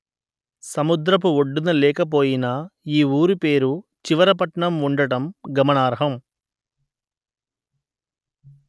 సముద్రపు ఒడ్డున లేక పోయినా ఈ ఊరు పేరు చివర పట్నం ఉండటం గమనార్హం